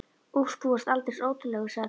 Úff, þú varst aldeilis ótrúlegur, sagði Tóti.